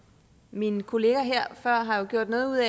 mine kolleger her før har jo gjort noget ud